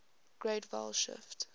great vowel shift